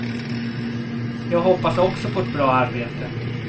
Jag hoppas också på ett bra arbete.